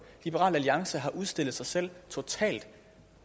liberal alliance har udstillet sig selv totalt